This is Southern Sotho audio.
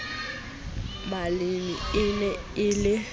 maleme e ne e le